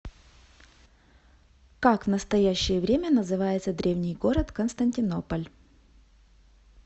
как в настоящее время называется древний город константинополь